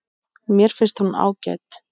Mér finnst hún ágæt.